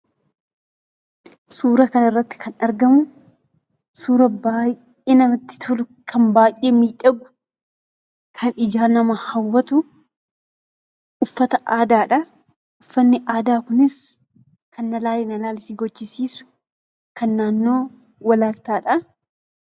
Suuraa kana irratti kan argamu suura baay'ee namatti tolu, kan baay'ee midhagu, kan ija namaa hawwatu, uffata aadaadha. Uffanni aadaa kunis kan na ilaali ilaali gochisiisu, kan naannoo Walaayittaadha.